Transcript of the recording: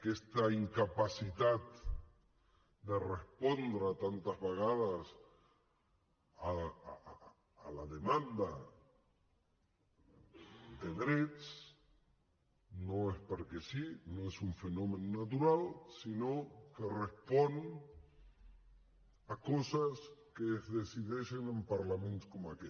aquesta incapacitat de respondre tantes vegades a la demanda de drets no és perquè sí no és un fenomen natural sinó que respon a coses que es decideixen en parlaments com aquest